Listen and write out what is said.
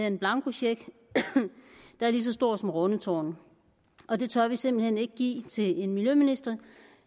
en blankocheck der er lige så stor som rundetårn og det tør vi simpelt hen ikke give til en miljøminister